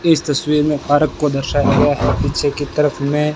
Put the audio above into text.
इस तस्वीर में पार्क को दर्शाया गया है पीछे की तरफ में--